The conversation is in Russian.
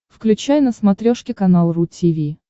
включай на смотрешке канал ру ти ви